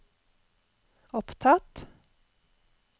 opptatt